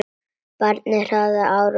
Barninu hrakaði ár frá ári.